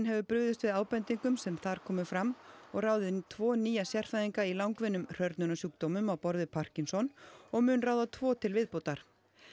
hefur brugðist við ábendingum sem þar komu fram og ráðið tvo nýja sérfræðinga í langvinnum á borð við Parkinsons og mun ráða tvo til viðbótar